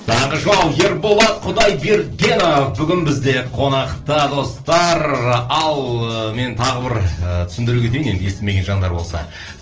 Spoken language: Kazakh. таңғы шоу ерболат құдайбергенов бүгін бізде қонақта достар ал мен тағы бір ы түсіндіре кетейін енді естімеген жандар болса